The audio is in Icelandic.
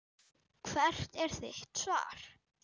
Hvert er þitt svar?